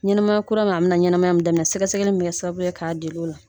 Ɲɛnɛma kura min a bi na na ɲɛnɛma min daminɛ sɛgɛsɛgɛ min bi kɛ sababu ye k'a deli o la